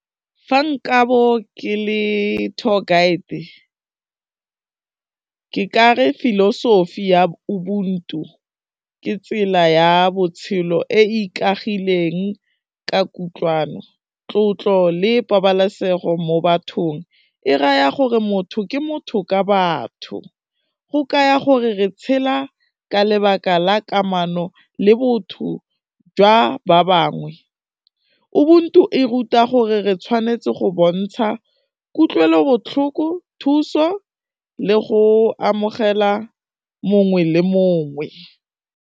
Fa nka bo ke le tour guide ke kare philosophy ya Ubuntu ke tsela ya botshelo e e ikagileng ka kutlwano, tlotlo le pabalesego mo bathong, e raya gore motho ke motho ka batho, go kaya gore re tshela ka lebaka la kamano le botho jwa ba bangwe, Ubuntu e ruta gore re tshwanetse go bontsha kutlwelobotlhoko, thuso le go amogela mongwe le mongwe.